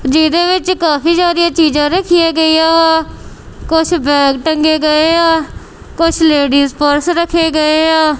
ਜਿਹਦੇ ਵਿੱਚ ਇੱਕ ਕਾਫੀ ਸਾਰਿਆਂ ਚੀਜਾਂ ਰੱਖੀਆਂ ਗਈਆਂ ਕੁਛ ਬੈਗ ਟੰਗੇ ਗਏਆਂ ਕੁਛ ਲੇਡੀਸ ਪਰਸ ਰੱਖੇ ਗਏਆ।